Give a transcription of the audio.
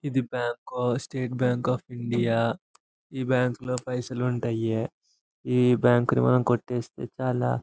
ఏది bank state bank లో of India ఈ బ్యాంకు పైసలు ఉంటాయి. ఈ బ్యాంకు ను మనం కోటేస్తే చాల --